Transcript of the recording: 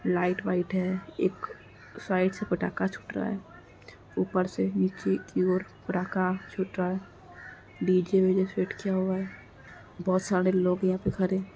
Light white है। एक side से पटाखा छूट रहा है। ऊपर से नीचे की ओर प्रका छूट रहा है। डीजे विजे फिट किया हुआ है। बहोत सारे लोग यहां पे खड़े हैं।